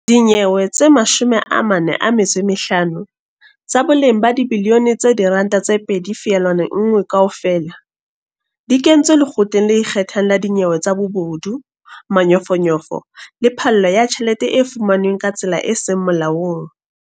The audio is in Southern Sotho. Dinyewe tse 45, tsa boleng ba dibiliyone tse R2.1 kaofela, di kentswe Lekgotleng le Ikgethang la Dinyewe tsa Bobodu, Manyofonyofo le Phallo ya Tjhelete e fumanweng ka tsela e seng Molaong.